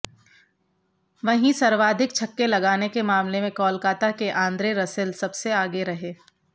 वहीं सर्वाधिक छक्के लगाने के मामले में कोलकाता के आन्द्रे रसेल सबसे आगे रहे